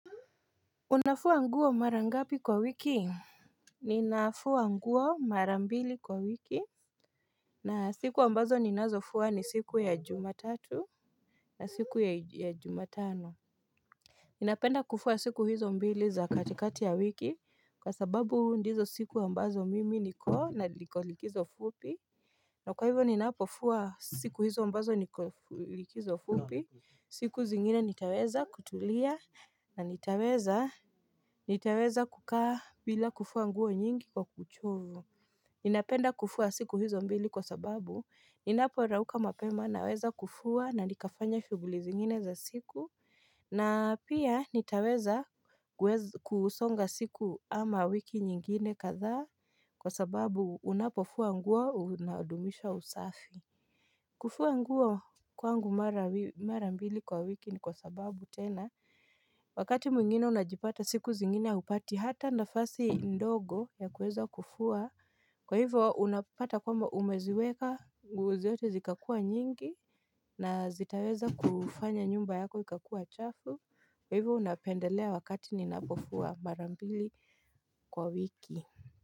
Unafua nguo mara ngapi kwa wiki? Ninafua nguo mara mbili kwa wiki na siku ambazo ninazofua ni siku ya jumatatu na siku ya jumatano Ninapenda kufua siku hizo mbili za katikati ya wiki kwa sababu ndizo siku ambazo mimi niko likizo fupi na kwa hivyo ninapofua siku hizo ambazo niko likizo fupi, siku zingine nitaweza kutulia na nitaweza, nitaweza kukaa bila kufua nguo nyingi kwa uchovu Ninapenda kufua siku hizo mbili kwa sababu ninaporauka mapema naweza kufua na nikafanya shughuli zingine za siku Ninapenda kufua siku hizo mbili za katikati ya wiki kwa sababu ndizo siku ambazo mimi niko likizo fupi kufua nguo kwangu marambili kwa wiki ni kwa sababu tena Wakati mwingine najipata siku zingine haupati hata nafasi ndogo ya kuweza kufua Kwa hivo unapata kwamba umeziweka nguo zote zikakua nyingi na zitaweza kufanya nyumba yako ikakua chafu kwa hivyo unapendelea wakati ninapofua mara mbili kwa wiki.